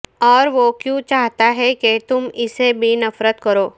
اور وہ کیوں چاہتا ہے کہ تم اسے بھی نفرت کرو